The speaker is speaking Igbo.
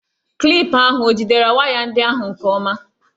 Klipụ ahụ o jidere waya ndị ahụ nke ọma?